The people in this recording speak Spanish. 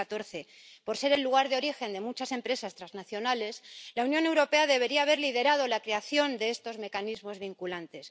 2014. Por ser el lugar de origen de muchas empresas transnacionales, la Unión Europea debería haber liderado la creación de estos mecanismos vinculantes.